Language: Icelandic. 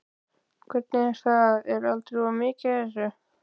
Hvernig er það, er aldrei of mikið af þessu?